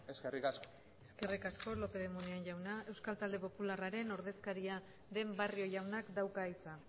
eskerrik asko eskerrik asko lopez de muniain jauna euskal talde popularraren ordezkaria den barrio jaunak dauka hitza